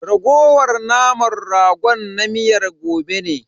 Raguwar naman ragon na miyar gobe ne.